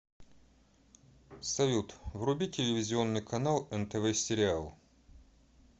салют вруби телевизионный канал нтв сериал